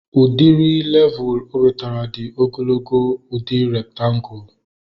Udiri levul o wetara dị ogologo udi rektangulu